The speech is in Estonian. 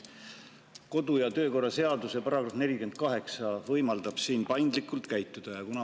Kodu‑ ja töökorra seaduse § 48 võimaldab siin paindlikult käituda.